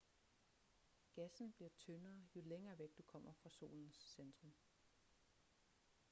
gassen bliver tyndere jo længere væk du kommer fra solens centrum